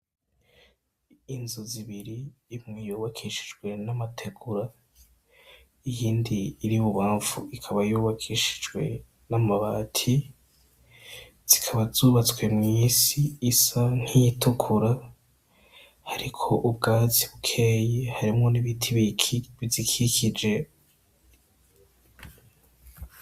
Inzu zibiri imwe yubakishijwe n'amategura, iyindi iri ibubanfu ikaba yubakishijwe n'amabati, zikaba zubatswe mw'isi isa nk'iyitukura hariko ubwatsi bukeyi harimwo n'ibiti bizikikije.